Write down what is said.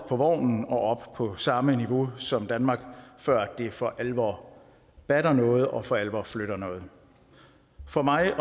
på vognen og op på samme niveau som danmark før det for alvor batter noget og for alvor flytter noget for mig og